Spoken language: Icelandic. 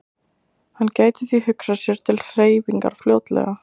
Hann gæti því hugsað sér til hreyfingar fljótlega.